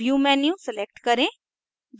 view menu select करें